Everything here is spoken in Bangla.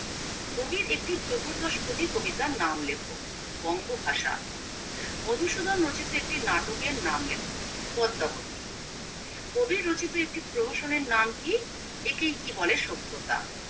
কবির একটি চতুর্দশ পদী কবিতার নাম লেখো বঙ্গভাষা মধুসূধন রচিত নাটকের নাম লেখো পদ্মাবতী কবির রচিত একটি প্রহসনের নাম কি একেই কি বলে সভ্যতা